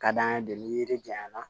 Ka d'an ye de ni yiri janya na